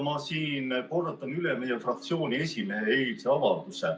Ma kordan üle meie fraktsiooni esimehe eilse avalduse.